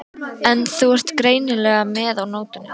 En þú ert greinilega með á nótunum.